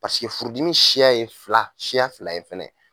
Paseke furudimi siya ye fila siya fila ye fana.